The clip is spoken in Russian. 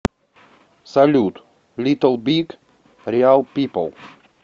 салют литл биг реал пипл видео